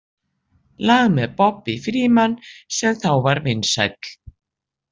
lag með Bobby Freeman sem þá var vinsæll.